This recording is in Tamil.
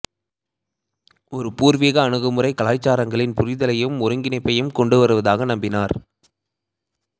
ஒரு பூர்வீக அணுகுமுறை கலாச்சாரங்களின் புரிதலையும் ஒருங்கிணைப்பையும் கொண்டுவருவதாக நம்பினார்